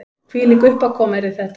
Hvílík uppákoma yrði þetta